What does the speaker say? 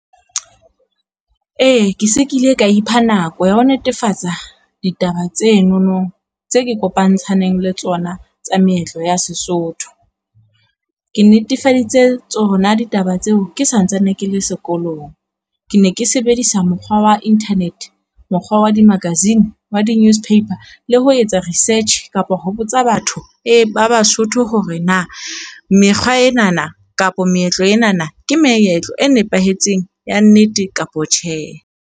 E ke se ke ile ka ipha nako ya ho netefatsa, ditaba tsenono tse ke kopantshaneng le tsona tsa meetlo ya Sesotho. Ke netefaditse tsona ditaba tseo ke santsane ke le sekolong, ke ne ke sebedisa mokgwa wa internet, mokgwa wa di-magazine, wa di newspaper le ho etsa research kapo ho botsa batho, e ba Basotho hore na mekgwa ena na kapa meetlo ena na ke meetlo e nepahetseng ya nnete kapa tjhe.